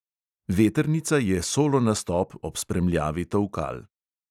Vetrnica je solo nastop ob spremljavi tolkal.